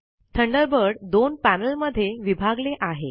Thunderbird दोन panel मध्ये विभागले आहे